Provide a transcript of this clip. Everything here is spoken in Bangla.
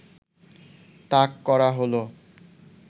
তাক করা হলো